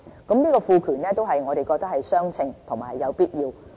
此賦權我們認為是相稱和有必要的。